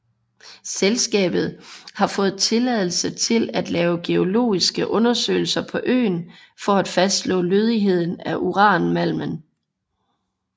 Selskabet har fået tilladelse til at lave geologiske undersøgelser på øen for at fastslå lødigheden af uranmalmen